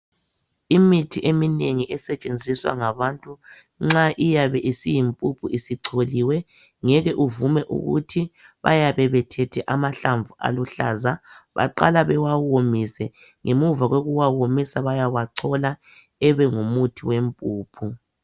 imithi eminengi esetshenziswa ngabantu nxa iyabe isiyimphuphu isicholiwe ngeke uvume ukuthi bayabe bethethe amahlamvu aluhlaza baqala bewawomise ngemuva kokuwawomisa wayawachola abe ngumuthi wempuphu